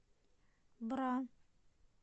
бра